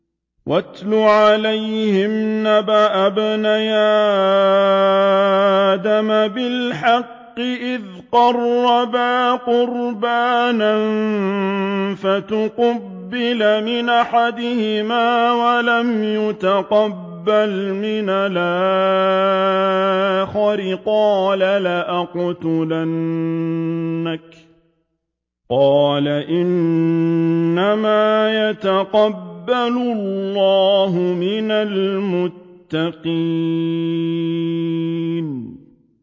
۞ وَاتْلُ عَلَيْهِمْ نَبَأَ ابْنَيْ آدَمَ بِالْحَقِّ إِذْ قَرَّبَا قُرْبَانًا فَتُقُبِّلَ مِنْ أَحَدِهِمَا وَلَمْ يُتَقَبَّلْ مِنَ الْآخَرِ قَالَ لَأَقْتُلَنَّكَ ۖ قَالَ إِنَّمَا يَتَقَبَّلُ اللَّهُ مِنَ الْمُتَّقِينَ